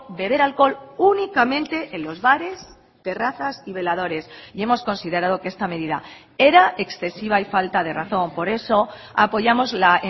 beber alcohol únicamente en los bares terrazas y veladores y hemos considerado que esta medida era excesiva y falta de razón por eso apoyamos la